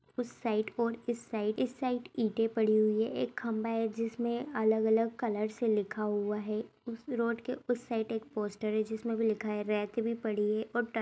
उस साइड कोर इस साइड इस साइड ईंटें पड़ी हुई हैं। एक खंभा है जिसमें अलग अलग कलर से लिखा हुआ है। उस रोड के उस साइड एक पोस्टर है जिसमें भी लिखा है। रैक भी पड़ी है और ट --